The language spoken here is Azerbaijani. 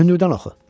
Hündürdən oxu.